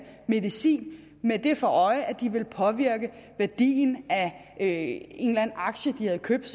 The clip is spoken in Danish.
medicin med det for øje at påvirke værdien af en eller anden aktie de havde købt